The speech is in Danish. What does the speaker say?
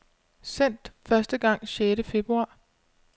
Sendt første gang sjette februar.